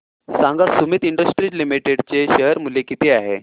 सांगा Sumeet industries limited चे share मूल्य किती आहे